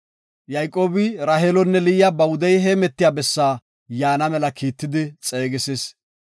Yayqoobi Raheelonne Liya ba wudey heemetiya bessaa yaana mela kiittidi xeegisis.